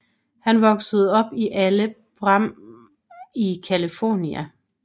Han voksede op i Alhambra i California